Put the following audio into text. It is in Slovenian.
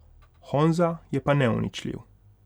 Honza je pa neuničljiv.